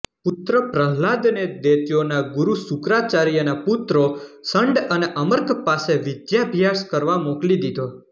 પુત્ર પ્રહલાદને દૈત્યોના ગુરુ શુક્રાચાર્યના પુત્રો શંડ અને અમર્ક પાસે વિધાભ્યાસ કરવા મોકલી દીધો